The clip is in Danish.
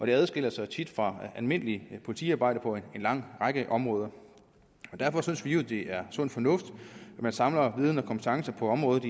det adskiller sig tit fra almindeligt politiarbejde på en lang række områder derfor synes vi jo at det er sund fornuft at man samler viden og kompetence på området